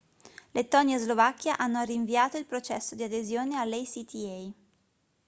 lettonia e slovacchia hanno rinviato il processo di adesione all'acta